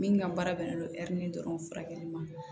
Min ka baara bɛnnen don dɔrɔn furakɛli ma